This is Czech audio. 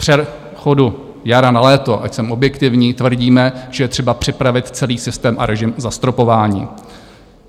Od přechodu jara na léto, ať jsem objektivní, tvrdíme, že je třeba připravit celý systém a režim zastropování.